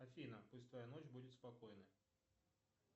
афина пусть твоя ночь будет спокойна